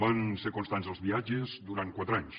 van ser constants els viatges durant quatre anys